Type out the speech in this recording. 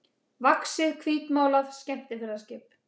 vaxið hvítmálað skemmtiferðaskip.